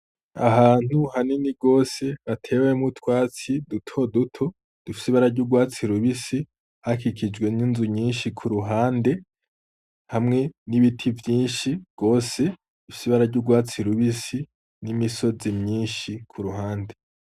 Ahantu hanini gose hatewemwo utwatsi duto duto dufise ibara ry'urwatsi rubisi hakikijwe n'inzu nyinshi kuruhande, hamwe n'ibiti vyinshi gose bifise ibara y'urwatsi rubisi n'imisozi myinshi kuruhande.